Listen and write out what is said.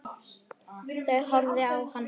Hún horfði á hann hissa.